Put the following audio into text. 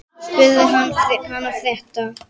Ég spurði hana frétta.